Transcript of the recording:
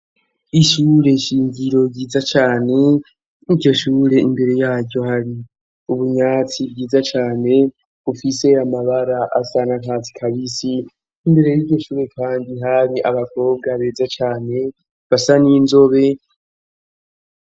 Ishure shingiro ryiza cane iryo shure imbere yayo hari ubunyatsi bwiza cane bufise amabara asa n' akatsi kabisi imbere y'iryo shure kandi hari abakobwa beza cane basa n' inzobe.